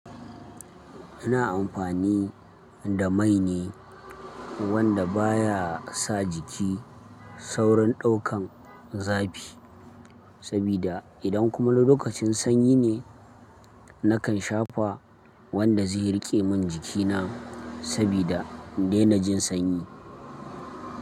Ina amfani da mai ne wanda baya sa jiki saurin daukan zafi, sabida idan kuma lokacin sanyi ne, nakan shafa wanda zai rike min jikina sabida daina jin sanyi.